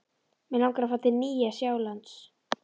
Mig langar að fara til Nýja-Sjálands.